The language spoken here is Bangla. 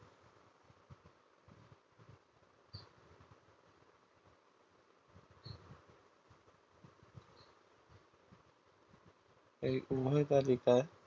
এই উভয় তালিকার